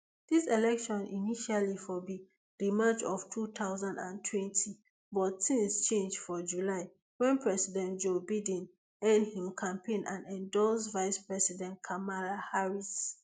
dis election initially for be rematch of two thousand and twenty but tins change for july wen president joe biden end im campaign and endorse vicepresident kamala harris